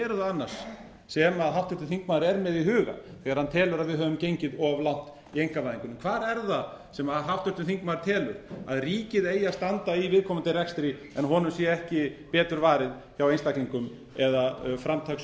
annars sem háttvirtur þingmaður er með í huga þegar hann telur að við höfum gengið of langt í einkavæðingunni hvar er það sem háttvirtur þingmaður telur að ríkið eigi að standa í viðkomandi rekstri en honum sé ekki betur varið hjá einstkalingum eða framtakssamt